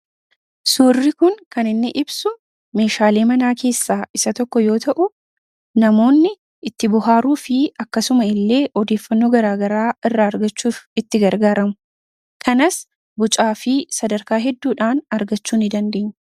suurri kun kan inni ibsu meeshaalee manaa keessaa isa tokko yoo ta'u namoonni itti buhaaruu fi akkasuma illee odeiffanno garaagaraa irraa argachuuf itti gargaaramu kanas bucaa fi sadarkaa hedduudhaan argachuu ni dandeine